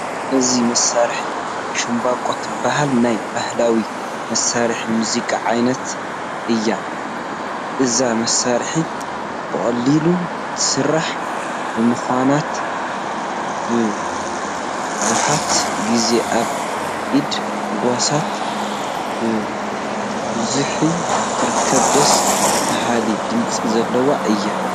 እዛ መሳርሒ ሻምበቆ ትበሃል ናይ ባህላዊ መሳርሒ ሙዚቃ ዓይነት እያ፡፡ እዛ መሳርሒ ብቐሊሉ ትስራሕ ብምዃናት መብዛሕትኡ ግዜ ኣብ ኢድ ጓሶት ብብዝሒ ትርከብ ደስ በሃሊ ድምፂ ዘለዋ እያ፡፡